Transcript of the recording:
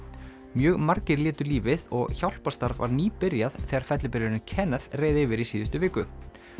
mjög margir létu lífið og hjálparstarf var nýbyrjað þegar fellibylurinn Kenneth reið yfir í síðustu viku